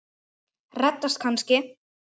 Reddast kannski?